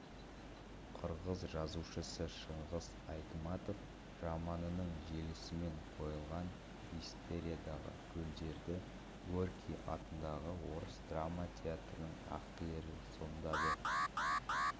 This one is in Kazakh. қырғыз жазушысы шыңғыс айтматов романының желісімен қойылған мистериядағы рөлдерді горький атындағы орыс драма театрының актерлері сомдады